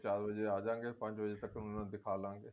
ਚਾਰ ਵਜੇ ਆਜਾਵਾਂਗੇ ਪੰਜ ਵਜੇ ਉਹਨਾ ਨੂੰ ਦਿਖਾ ਲਵਾਂਗੇ